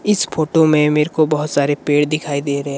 इस फोटो में मेरे को बहुत सारे पेड़ दिखाई दे रहे।